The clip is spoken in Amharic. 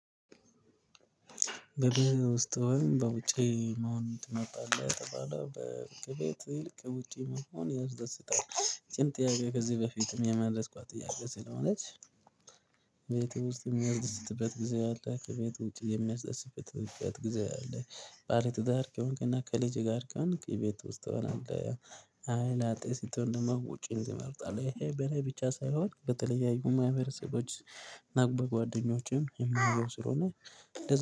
በቤት ውስጥ ወይም በውጪ መሆን ትመርጣለህ? የተባለ በ ከቤቴ ይልቅ ውጪ መሆን ያስደስታል። ይችን ጥያቄ ከዚህ በፊትም የመለስ ኳት ጥያቄ ስለሆነች። ቤት ውስጥ የሚያስደስትበት ጊዜ አለ ከቤት ውጪ የሚያስደስትበት በት ጊዜ አለ። ባለ ትዳር ከሆንክና ከልጄ ጋር ከሆንክ እቤት ውስጥ ትሆናለህ። አይ ላጤ ስትሆን ደግሞ ውጪን ትመርጣለህ። ይሄ በእኔ ብቻ ሳይሆን በተለያዩ ማህበረሰቦች እና በጓደኞቼም የማየው ስለሆነ